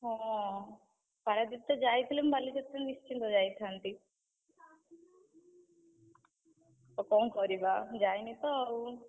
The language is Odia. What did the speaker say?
ହଁ, ପାରାଦ୍ୱୀପ ତ ଯାଇଥିଲେ ମୁଁ ବାଲିଯାତ୍ରା ନିଶ୍ଚିନ୍ତ ଯାଇଥାନ୍ତି, ଆଉ କଣ କରିବା? ମୁଁ ଯାଇନି ତ ଆଉ।